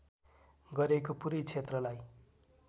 गरेको पूरै क्षेत्रलाई